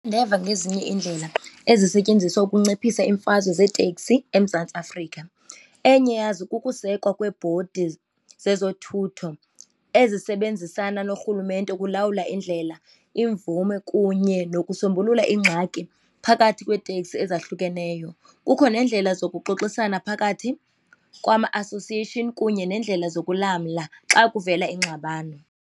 Ndeva ngezinye iindlela ezisetyenziswa ukunciphisa iimfazwe zeeteksi eMzantsi Afrika. Enye yazo kukusekwa kweebhodi zezothutho ezisebenzisana norhulumente ukulawula indlela, imvume kunye nokusombulula ingxaki phakathi kweeteksi ezahlukeneyo. Kukho neendlela zokuxoxisana phakathi kwama-association kunye nendlela zokulamla xa kuvela ingxabano.